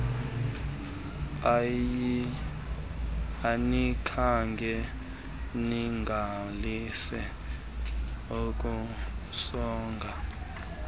anikhange niqalise ukusonga